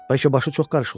Bəlkə başı çox qarışıq olub.